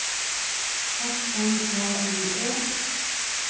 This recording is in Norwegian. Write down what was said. S N A U E